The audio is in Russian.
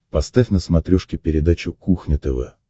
поставь на смотрешке передачу кухня тв